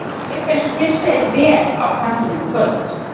Hann lék eins og fyrr segir vel á kantinum í kvöld.